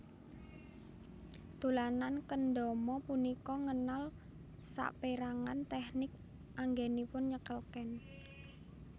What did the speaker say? Dolanan kendama punika ngenal sapérangan tèknik anggènipun nyekel ken